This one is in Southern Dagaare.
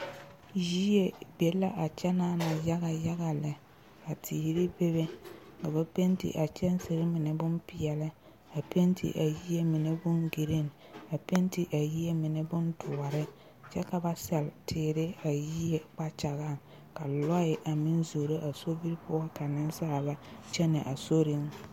Yie be le a kyɛ naana yaga yaga lɛ ka teere be be ka ba pente a kyɛnsere mine bompeɛle a pente a yie mine bon green a pente a yie mine bondoɔre kyɛ ka ba sellɛ teere a yie kpagyaŋ ka lɔɛ a mine zoro a sobiri poɔ ka nensaalba kyɛnɛ a sori